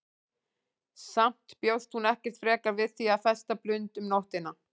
Samt bjóst hún ekkert frekar við því að festa blund um nóttina.